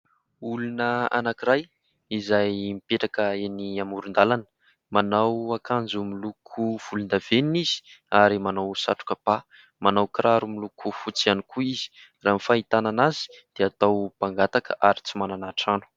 Olona anakiray izay mipetraka eny amoron_dàlana. Manao akanjo miloko volondavenina izy ary manao satroka ba. Manao kiraro miloko fotsy ihany koa izy. Raha ny fahitana azy dia mpangataka ary tsy manana trano.